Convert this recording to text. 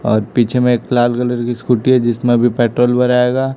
और पीछे में एक लाल कलर की स्कूटी है जिसमें अभी पेट्रोल भराएगा।